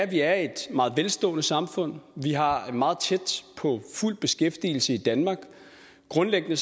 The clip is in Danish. vi er et meget velstående samfund vi har meget tæt på fuld beskæftigelse i danmark og grundlæggende